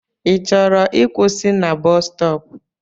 I chọrọ ịkwụsị na bọs stọọpu?